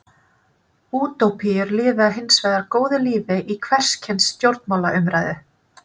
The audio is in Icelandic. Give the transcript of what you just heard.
Útópíur lifa hins vegar góðu lífi í hvers kyns stjórnmálaumræðu.